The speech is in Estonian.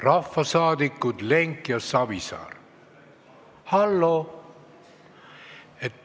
Rahvasaadikud Lenk ja Savisaar, halloo!